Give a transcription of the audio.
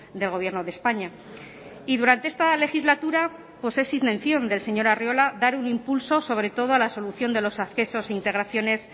del gobierno de españa y durante esta legislatura pues es intención del señor arriola dar un impulso sobre todo a la solución de los accesos e integraciones